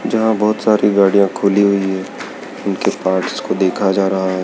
जहां बहोत सारी गाड़ियां खुली हुईं हैं उनके पार्टस को देखा जा रहा है।